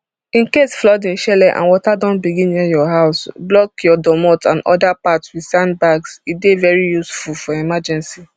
incase flooding shele and water don begin near your house block your domot and oda parts wit sand bags e dey very useful for emergency